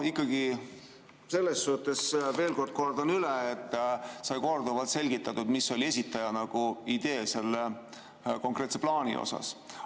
Ja selles suhtes veel kord kordan üle, et sai korduvalt selgitatud, mis oli esitaja idee selle konkreetse plaani puhul.